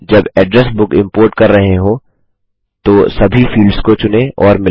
जब address book import कर रहे हों तो सभी फील्ड्स को चुनें और मिलाएँ